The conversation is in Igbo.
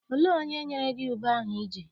Olee onye nyere gị ube ahụ I ji?